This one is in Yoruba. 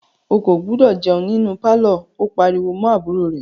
O kò gbúdọ̀ jẹun nínú pálọ̀! ó pariwo mọ́ àbúrò rẹ̀.